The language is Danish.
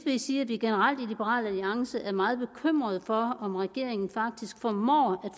jeg sige at vi generelt i liberal alliance er meget bekymrede for om regeringen faktisk formår